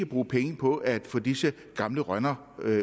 bruge penge på at få disse gamle rønner